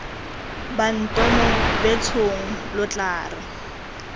bantomo betshong lo tla re